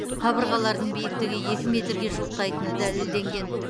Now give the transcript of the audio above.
қабырғалардың биіктігі екі метрге жуықтайтыны дәлелденген